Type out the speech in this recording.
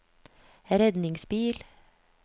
redningsbil